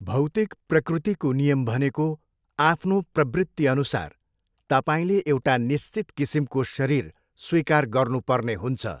भौतिक प्रकृतिको नियम भनेको आफ्नो प्रवृत्तिअनुसार तपार्ईँले एउटा निश्चित किसिमको शरीर स्वीकार गर्नुपर्ने हुन्छ।